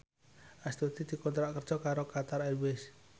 Astuti dikontrak kerja karo Qatar Airways